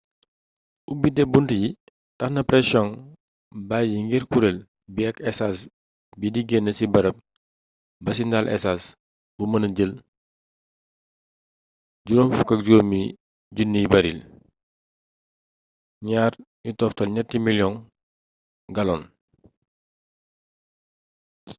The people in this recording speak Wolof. ubite bunt yi taxna presiyoŋ bayi ngir kureel bi ak esaas di gén ci barap ba ci ndaal esaas bu mëna jël 55 000 baaril 2,3 miliyong gallons